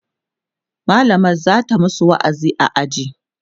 mallamar zata masu wa'azi a aji